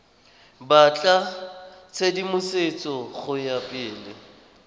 batla tshedimosetso go ya pele